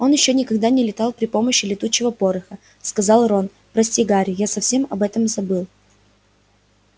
он никогда ещё не летал при помощи летучего пороха сказал рон прости гарри я совсем об этом забыл